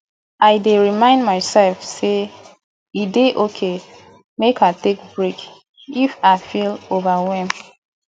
i dey remind myself sey e dey okay make i take break if i feel overwhelmed